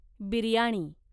biryani